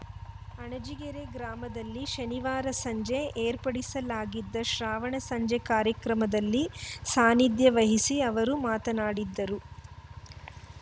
ಅಣಜಿಗೆರೆ ಗ್ರಾಮದಲ್ಲಿ ಶನಿವಾರ ಸಂಜೆ ಏರ್ಪಡಿಸಲಾಗಿದ್ದ ಶ್ರಾವಣ ಸಂಜೆ ಕಾರ್ಯಕ್ರಮದಲ್ಲಿ ಸಾನಿಧ್ಯ ವಹಿಸಿ ಅವರು ಮಾತನಾಡಿದರು